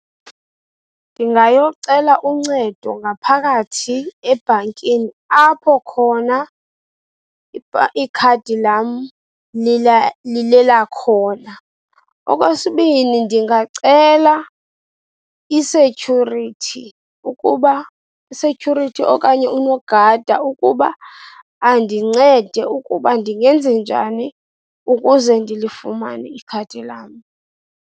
Ndingayocela uncedo ngaphakathi ebhankini, apho khona ikhadi lam lilelakhona. Okwesibini, ndingacela i-security ukuba, i-security okanye unogada ukuba andincede ukuba ndingenzenjani ukuze ndilifumane ikhadi lam.